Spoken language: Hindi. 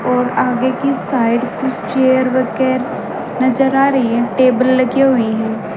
और आगे की साइड कुछ चेयर नजर आ रही हैं टेबल लगी हुई हैं।